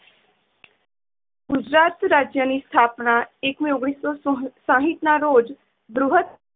ગુજરાત રાજય ની સ્થાપના એક મેં ઓગણીસો શા~સાથ ના રોજ બૃહ્સ્થ